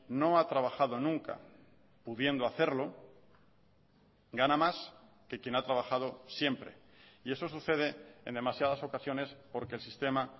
no ha trabajado nunca pudiendo hacerlo gana más que quien ha trabajado siempre y eso sucede en demasiadas ocasiones porque el sistema